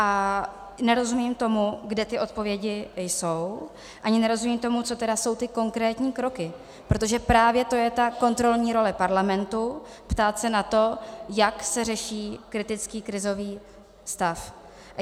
A nerozumím tomu, kde ty odpovědi jsou, ani nerozumím tomu, co tedy jsou ty konkrétní kroky, protože právě to je ta kontrolní role parlamentu ptát se na to, jak se řeší kritický krizový stav.